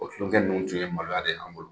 O tulonkɛ ninnu tun ye maloya de y'an bolo.